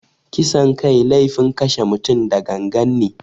Kisan kai laifin kashe mutum da gangan ne.